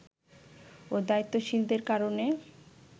ও দায়িত্বশীলদের কারণে